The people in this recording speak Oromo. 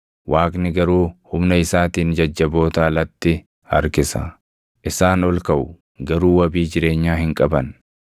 Waaqni garuu humna isaatiin jajjaboota alatti harkisa; isaan ol kaʼu; garuu wabii jireenyaa hin qaban.